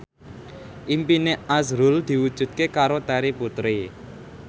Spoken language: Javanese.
impine azrul diwujudke karo Terry Putri